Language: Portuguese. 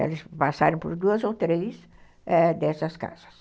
Eles passaram por duas ou três ãh dessas casas.